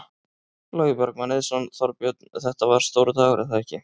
Logi Bergmann Eiðsson: Þorbjörn, þetta var stór dagur er það ekki?